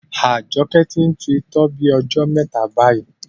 Ajoke ti n tu itọ́ bí ojó mẹta bayi